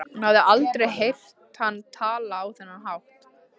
Hún hafði aldrei heyrt hann tala á þennan hátt.